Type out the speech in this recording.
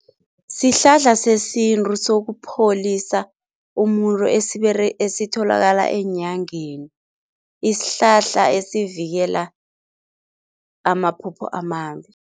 Sihlahla sesintu sokupholisa umuntu esitholakala eenyangeni, isihlahla esivikela amaphupho amambi.